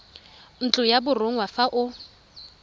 ntlo ya borongwa fa o